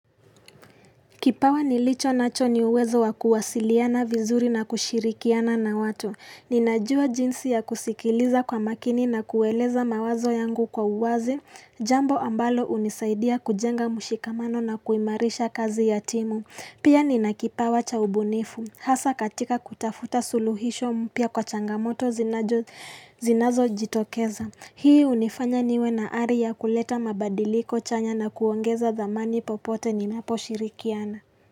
Kipawa nilicho nacho ni uwezo wa kuwasiliana vizuri na kushirikiana na watu. Ninajua jinsi ya kusikiliza kwa makini na kueleza mawazo yangu kwa uwazi. Jambo ambalo hunisaidia kujenga mshikamano na kuimarisha kazi ya timu. Pia nina kipawa cha ubunifu. Hasa katika kutafuta suluhisho mpya kwa changamoto zinazojitokeza. Hii hunifanya niwe na ari kuleta mabadiliko chanya na kuongeza dhamani popote ninaposhirikiana.